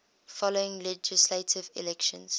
following legislative elections